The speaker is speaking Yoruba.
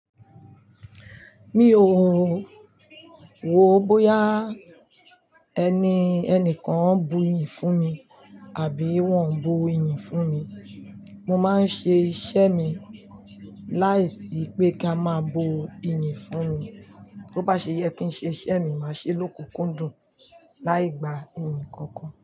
Mi ò, wòó bóyá ẹnìkan ń buyì fún mi àbí wọ́n ò bu iyì fún mi. Mo máa ń ṣe iṣẹ́ mi láìsí pé kí a máa bu iyì fún mi. Tó bá ṣe yẹ kí n ṣe iṣẹ́ mi, màá ṣe ló kúkún dùn láì gba iyì kankan.